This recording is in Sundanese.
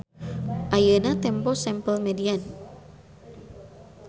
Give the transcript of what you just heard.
Ayeuna tempo sample median.